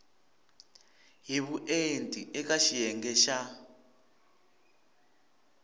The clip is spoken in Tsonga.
hi vuenti eka xiyenge xa